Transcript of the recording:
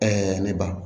ne ba